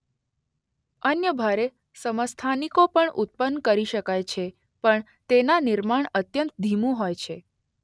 અન્ય ભારે સમસ્થાનિકો પણ ઉત્પન કરી શકાય છે પણ તેના નિર્માણ અત્યંત ધીમું હોય છે.